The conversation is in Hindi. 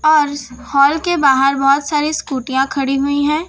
और इस हॉल के बाहर बहोत सारी स्कूटीयां खड़ी हुईं हैं।